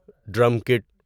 drum Kate